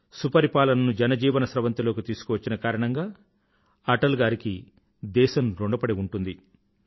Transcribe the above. సుపరిపాలనను జనజీవన స్రవంతిలోకి తీసుకువచ్చిన కారణంగా అటల్ గారికి దేశం ఋణపడి ఉంటుంది